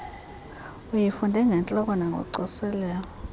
uyifunde ngentloko nangocoselelo